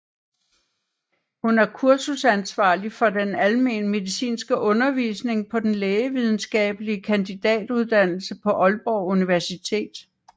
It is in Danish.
Hun er kursusansvarlig for den almen medicinske undervisning på den lægevidenskabelige kandidatuddannelse på Aalborg Universitet